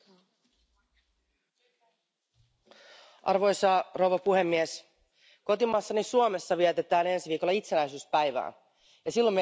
Arvoisa puhemies, kotimaassani Suomessa vietetään ensi viikolla itsenäisyyspäivää ja silloin meiltä aina kysytään Mitä itsenäisyys sinulle merkitsee?